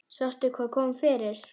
Sástu hvað kom fyrir?